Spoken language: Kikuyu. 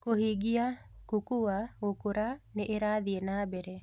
Kũhingia: Kukua (Gũkũra) nĩ ĩrathiĩ na mbere